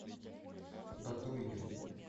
батуеве